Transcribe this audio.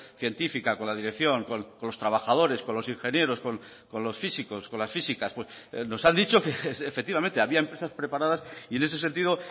científica con la dirección con los trabajadores con los ingenieros con los físicos con las físicas nos han dicho que efectivamente había empresas preparadas y en ese sentido